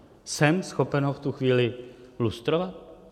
Jsem schopen ho v tu chvíli lustrovat?